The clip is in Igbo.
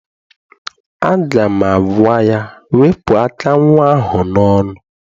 Aga m agwa ya, wepụ aka nnwa ahụ n'ọnụ!